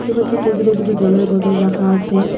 পাচ্ছি টেবিলে দুটি জলের বোতল রাখা আছে।